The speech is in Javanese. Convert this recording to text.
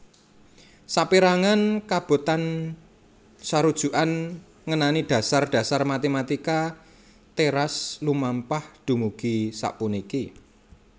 Sapérangan kabotensarujukan ngenani dhasar dhasar matématika teras lumampah dumugi sapuniki